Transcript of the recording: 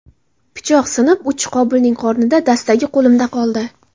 Pichoq sinib, uchi Qobilning qornida, dastagi qo‘limda qoldi.